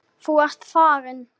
Þú ert farin.